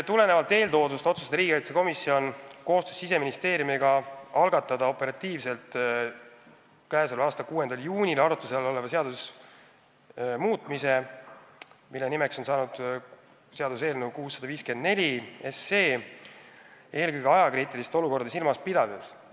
Tulenevalt eeltoodust otsustas riigikaitsekomisjon koostöös Siseministeeriumiga operatiivselt k.a 6. juunil algatada arutluse all oleva seaduse muutmise eelnõu 654, seda eelkõige ajakriitilist olukorda silmas pidades.